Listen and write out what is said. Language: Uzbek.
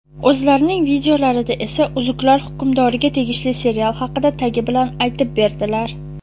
O‘zlarining videolarida esa "Uzuklar Hukmdori"ga tegishli serial haqida tagi bilan aytib berdilar.